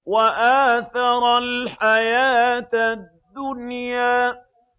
وَآثَرَ الْحَيَاةَ الدُّنْيَا